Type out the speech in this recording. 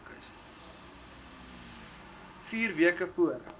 vier weke voor